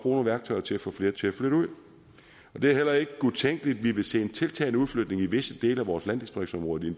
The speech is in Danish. nogle værktøjer til at få flere til at flytte ud det er heller ikke utænkeligt at vi vil se en tiltagende udflytning i visse dele af vores landdistriktsområder